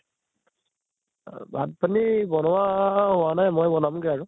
অহ ভাত পানী বনোৱা হোৱা নাই, মই বনাম গে আৰু।